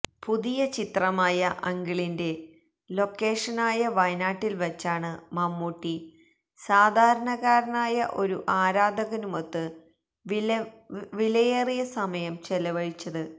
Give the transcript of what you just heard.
പുതിയ ചിത്രമായ അങ്കിളിന്റെ ലൊക്കേഷനായ വയനാട്ടില് വച്ചാണ് മമ്മൂട്ടി സാധാരണക്കാരനായ ഒരു ആരാധകനുമൊത്ത് വിലയേറിയ സമയം ചെലവഴിച്ചത്